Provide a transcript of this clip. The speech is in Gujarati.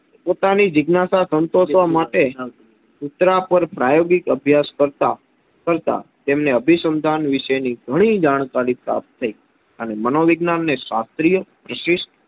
પોતાની જીજ્ઞાશા સંતોષવા માટે કુતરા પર પ્રાયોગિક અભ્યાસ કરતાં તેમણે અભિસંધાન વિષેની ઘણી જાણકારી પ્રાપ્ત થઈ અને મનોવિજ્ઞાનને શાસ્ત્રીય પ્રશિસ્ટ